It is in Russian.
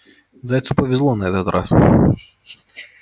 зайцу повезло на этот раз